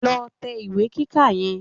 Lọ tẹ ìwé kíkà yẹn